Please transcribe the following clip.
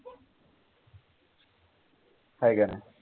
आहे का